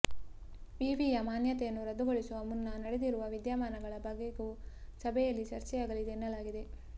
ವಿವಿಯ ಮಾನ್ಯತೆಯನ್ನು ರದ್ದುಗೊಳಿಸುವ ಮುನ್ನ ನಡೆದಿರುವ ವಿದ್ಯಮಾನಗಳ ಬಗೆಗೂ ಸಭೆಯಲ್ಲಿ ಚರ್ಚೆಯಾಗಲಿದೆ ಎನ್ನಲಾಗಿದೆ